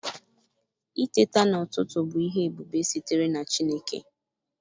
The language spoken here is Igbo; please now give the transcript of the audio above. Iteta n'ututu bis ihe ebube sitere na Chineke.